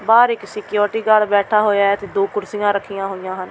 ਬਾਹਰ ਇੱਕ security guard ਬੈਠਾ ਹੋਇਆ ਹੈ ਤੇ ਦੋ ਕੁਰਸੀਆਂ ਰੱਖੀਆਂ ਹੋਈਆਂ ਹਨ।